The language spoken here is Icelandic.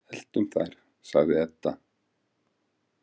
Eltum þær, sagði Edda.